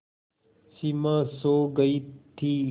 सिमा सो गई थी